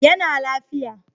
Ya na lafiya